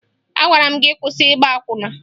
Agwara m gị kwụsị ịgba akwụna!